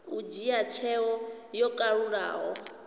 u dzhia tsheo yo kalulaho